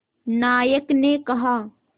नायक ने कहा